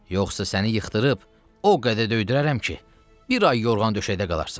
yoxsa səni yıxdırıb o qədər döydürərəm ki, bir ay yorğan döşəkdə qalarsan.